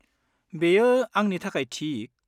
बेयो आंनि थाखाय थिक।